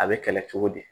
A bɛ kɛlɛ cogo di